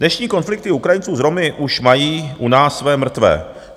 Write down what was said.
Dnešní konflikty Ukrajinců s Romy už mají u nás své mrtvé.